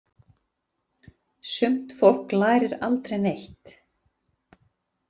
Sumt fólk lærir aldrei neitt.